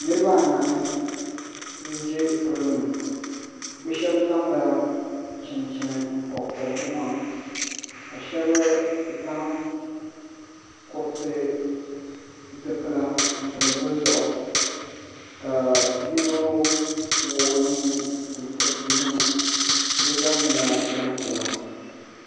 Niriba anahi n ʒɛ pollo ni bɛ sheba zaŋla chinchini m pobi pobi bɛ maŋa ka sheba zaŋ kuriti zipila n pili bɛ zuɣu ka yino wuɣi o nuu ntiriti yino bɛ zaa nyɛla gbampiɛla.